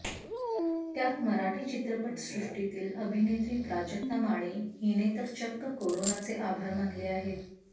त्यात मराठी चित्रपटसृष्टीतील अभिनेत्री प्राजक्ता माळी हिने तर चक्क कोरोनाचे आभार मानले आहेत